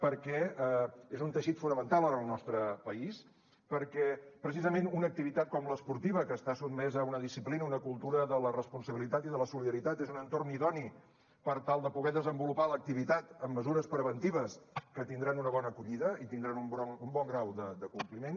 perquè és un teixit fonamental en el nostre país perquè precisament una activitat com l’esportiva que està sotmesa a una disciplina a una cultura de la responsabilitat i de la solidaritat és un entorn idoni per tal de poder desenvolupar l’activitat amb mesures preventives que tindran una bona acollida i tindran un bon grau de compliment